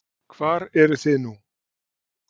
Hvar eruð þið nú?